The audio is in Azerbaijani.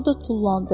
O da tullandı.